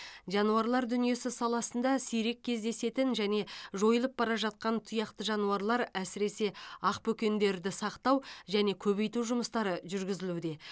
жануарлар дүниесі саласында сирек кездесетін және жойылып бара жатқан тұяқты жануарлар әсіресе ақбөкендерді сақтау және көбейту жұмыстары жүргізілуде